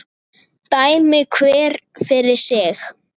Dæmi hver fyrir sig!